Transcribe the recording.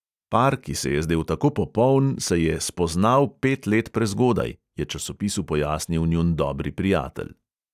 Par, ki se je zdel tako popoln, se je "spoznal pet let prezgodaj", je časopisu pojasnil njun dobri prijatelj.